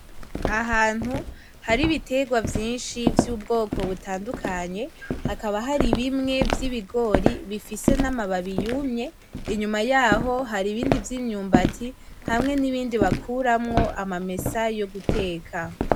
Ahantu hari ibiterwa vyinshi vy'ubwoko butandukanye, hakaba Hari bimwe vy'ibigori bifise n'amababi yumye, inyuma yaho hari ibindi vy'imyumbati , hamwe n'ibindi bakuramwo amamesa yo guteka .